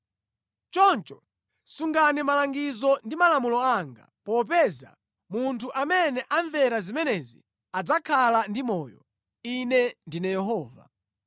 Choncho sungani malangizo ndi malamulo anga, popeza munthu amene amvera zimenezi adzakhala ndi moyo. Ine ndine Yehova.